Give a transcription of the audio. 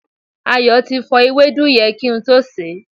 Ayo ti fọ ewédú yẹn kí n tó sè é